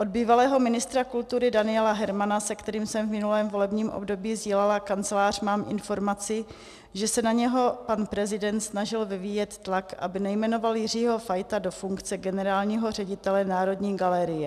Od bývalého ministra kultury Daniela Hermana, se kterým jsem v minulém volebním období sdílela kancelář, mám informaci, že se na něho pan prezident snažil vyvíjet tlak, aby nejmenoval Jiřího Fajta do funkce generálního ředitele Národní galerie.